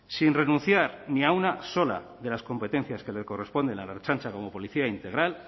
sin renunciar ni a una sola de las competencias que le corresponden a la ertzaintza como policía integral